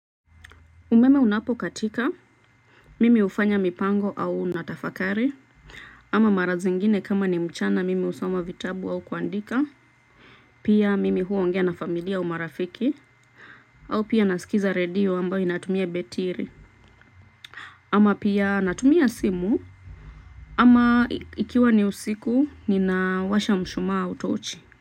Umeme unapo katika mimi hufanya mipango au natafakari ama mara zingine kama ni mchana mimi husoma vitabu au kuandika. Pia mimi huongea na familia au marafiki au pia naskiza redio ambayo inatumia betiri ama pia natumia simu ama ikiwa ni usiku ninawasha mshumaa au tochi.